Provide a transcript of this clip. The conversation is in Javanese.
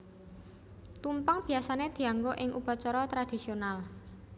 Tumpeng biyasané dianggo ing upacara tradisional